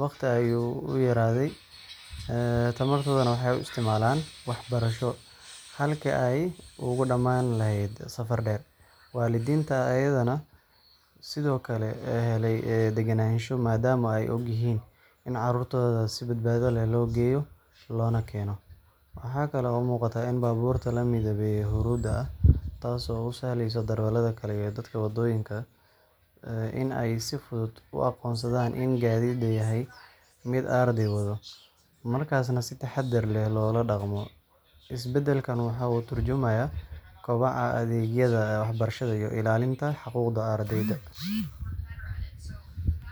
waqtiga ayuu u yaraaday, tamartoodana waxay u isticmaalaan waxbarasho halkii ay uga dhamaan lahayd safar dheer. Waalidiinta ayaana sidoo kale helay degenaansho maadaama ay og yihiin in carruurtooda si badbaado leh loo geeyo loona keeno. Waxaa kale oo muuqata in baabuurta la midabeeyay huruudda ah taasoo u sahleysa darawalada kale iyo dadka waddooyinka in ay si fudud u aqoonsadaan in gaadhigan yahay mid arday wado, markaasna si taxaddar leh loola dhaqmo. Isbedelkan wuxuu ka tarjumayaa kobaca adeegyada waxbarasho iyo ilaalinta xuquuqda ardayda.